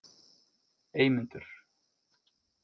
Eymundur